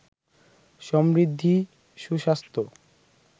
সমৃদ্ধি, সুস্বাস্থ্য